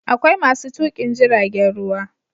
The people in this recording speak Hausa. Akwai masu tukin jiragen ruwa